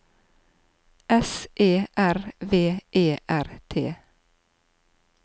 S E R V E R T